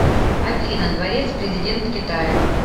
афина дворец президент китая